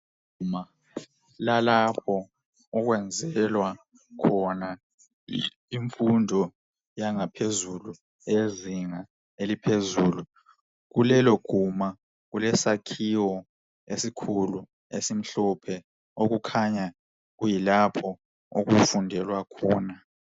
Iguma lalapho okwenzelwa khona imfundo yangaphezulu yezinga eliphezulu, kulelo guma, kulesakhiwo esikhulu esimhlophe okukhanya kuyilapho okufundelwa khona